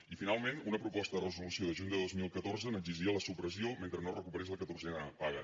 i finalment una proposta de resolució de juny de dos mil catorze n’exigia la supressió mentre no es recuperés la catorzena paga